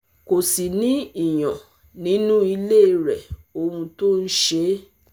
kò sì ní ìyàn nínú ilé rẹ̀ ohun tó ń ṣe é